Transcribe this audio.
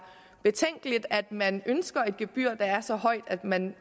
betænkeligt at man ønsker et gebyr der er så højt at man